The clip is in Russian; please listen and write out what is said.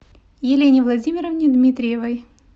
елене владимировне дмитриевой